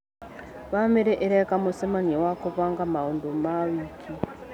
Bamĩrĩ ĩreka mũcemanio wa gũbanga maũndũ wa wiki.